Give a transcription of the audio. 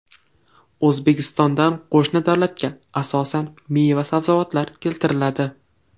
O‘zbekistondan qo‘shni davlatga asosan meva-sabzavotlar keltiriladi.